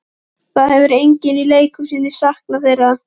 Það hefur enginn í leikhúsinu saknað þeirra.